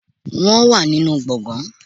Wọ́n wà nínú gbọ̀ngàn